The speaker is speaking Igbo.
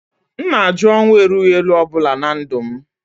M na-ajụ ọnwụ erughị eru ọ bụla na ndụ m